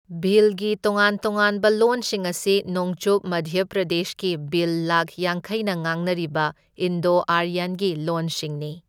ꯚꯤꯜꯒꯤ ꯇꯣꯉꯥꯟ ꯇꯣꯉꯥꯟꯕ ꯂꯣꯟꯁꯤꯡ ꯑꯁꯤ ꯅꯣꯡꯆꯨꯞ ꯃꯙ꯭ꯌ ꯄ꯭ꯔꯗꯦꯁꯀꯤ ꯚꯤꯜ ꯂꯥꯈ ꯌꯥꯡꯈꯩꯅ ꯉꯥꯡꯅꯔꯤꯕ ꯏꯟꯗꯣ ꯑꯥꯔꯌꯟ ꯒꯤ ꯂꯣꯟꯁꯤꯡꯅꯤ꯫